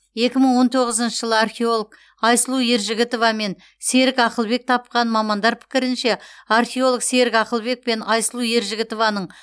екі мың он тоғызыншы жылы археолог айсұлу ержігітова мен серік ақылбек тапқан мамандар пікірінше археолог серік ақылбек пен айсұлу ержігітованың